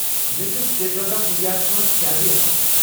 مےٚ چھُ State Bank of India ہس منٛز سیلری اکاونٛٹ۔